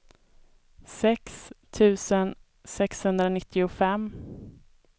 sex tusen sexhundranittiofem